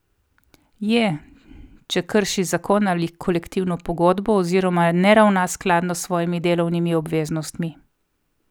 Je, če krši zakon ali kolektivno pogodbo oziroma ne ravna skladno s svojimi delovnimi obveznostmi.